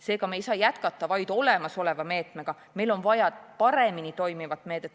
Seega ei saa me jätkata vaid olemasolevat meedet, meil on vaja paremini toimivat meedet.